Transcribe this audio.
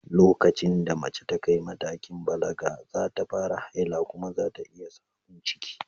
Lokacin da mace ta kai matakin balaga, za ta fara haila kuma za ta iya samun ciki.